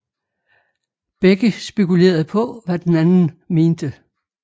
Begge spekulerede på hvad den anden mente